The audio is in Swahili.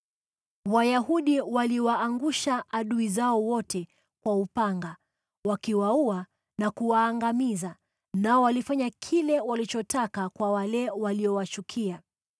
Wayahudi waliwaangusha adui zao wote kwa upanga wakiwaua na kuwaangamiza, nao walifanya kile walichotaka kwa wale waliowachukia.